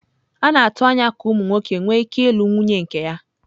A na-atụ anya ka ụmụ nwoke nwee ike ịlụ nwunye nke ya.